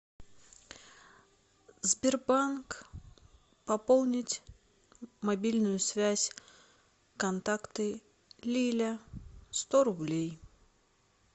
сбербанк пополнить мобильную связь контакты лиля сто рублей